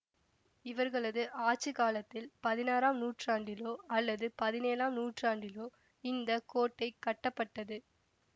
இவர்களது ஆட்சி காலத்தில் பதினாறாம் நூற்றாண்டிலோ அல்லது பதினேழாம் நூற்றாண்டிலோ இந்த கோட்டை கட்டப்பட்டது